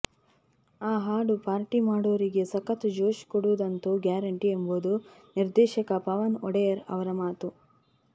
ಆ ಹಾಡು ಪಾರ್ಟಿ ಮಾಡೋರಿಗೆ ಸಖತ್ ಜೋಶ್ ಕೊಡುವುದಂತೂ ಗ್ಯಾರಂಟಿ ಎಂಬುದು ನಿರ್ದೇಶಕ ಪವನ್ ಒಡೆಯರ್ ಅವರ ಮಾತು